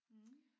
Mh